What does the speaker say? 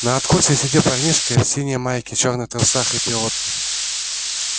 на откосе сидел парнишка в синей майке чёрных трусах и пилотке